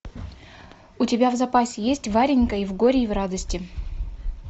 у тебя в запасе есть варенька и в горе и в радости